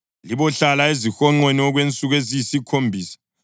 Libohlala ezihonqweni okwensuku eziyisikhombisa.